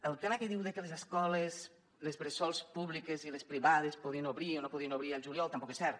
el tema que diu de que les escoles bressol públiques i les privades podien obrir o no podien obrir al juliol tampoc és cert